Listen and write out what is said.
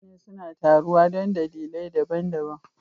Mutane suna taruwa don dalilai daban-daban